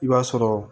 I b'a sɔrɔ